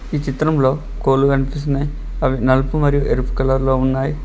ఈ చిత్రంలో కోళ్ళు కనిపిస్తున్నాయ్ అవి నల్పు మరియు ఏర్పు కలర్లో ఉన్నాయ్.